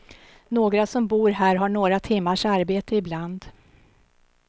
Några som bor här har några timmars arbete ibland.